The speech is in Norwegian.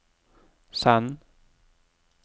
send